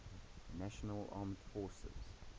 national armed forces